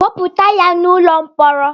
Kpọpụta ya n'ụlọ mkpọrọ!